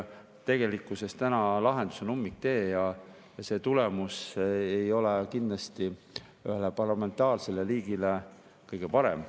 Tegelikkuses oleme täna ummikteel ja see tulemus ei ole kindlasti ühele parlamentaarsele riigile kõige parem.